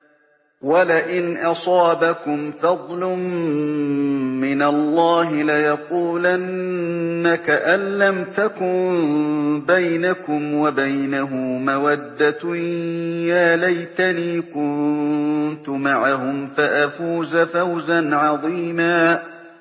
وَلَئِنْ أَصَابَكُمْ فَضْلٌ مِّنَ اللَّهِ لَيَقُولَنَّ كَأَن لَّمْ تَكُن بَيْنَكُمْ وَبَيْنَهُ مَوَدَّةٌ يَا لَيْتَنِي كُنتُ مَعَهُمْ فَأَفُوزَ فَوْزًا عَظِيمًا